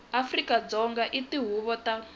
afrika dzonga eka tihuvo ta